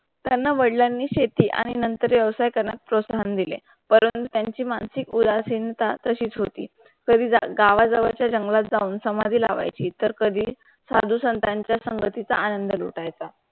त्यांना वडलांनी शेती आणि नंथर योषिक कनक प्रोक्षण दिले. परं त्यांची मानसिक उदासीनता त्याशीच होती. पर्वी गाव जावरचा जंगलात जाऊन सामाची लावायची तर कधी साधू संथांचा संघटीत आनंद लुट आयता.